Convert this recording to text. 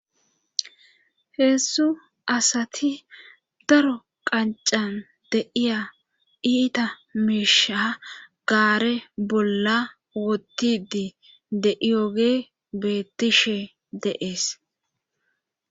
heezdzdu asati daro qancan de'iya iita miisha gaare bolla wotidi de'iyoge beettishe de'ees